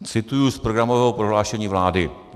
Cituji z programového prohlášení vlády.